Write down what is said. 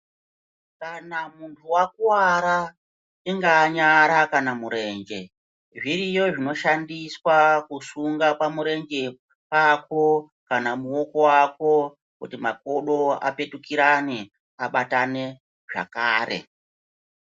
Kana muntu vakuwara ingaa nyara kana murenje zviriyo zvinoshandiswa kusunga pamurenge pako kana pamuoko wako kuti makodo apetukurane abatane zvakare.